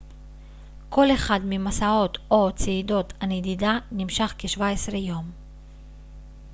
כל אחד ממסעות או צעידות הנדידה נמשך כ-17 יום